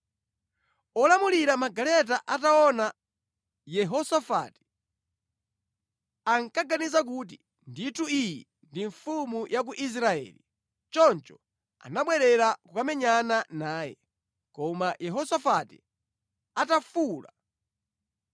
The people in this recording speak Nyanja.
Olamulira magaleta ataona Yehosafati, ankaganiza kuti, “Ndithu iyi ndiye mfumu ya ku Israeli.” Choncho anabwerera kukamenyana naye, koma Yehosafati atafuwula,